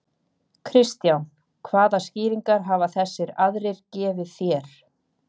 Kristján: Hvaða skýringar hafa þessir aðrir gefið þér?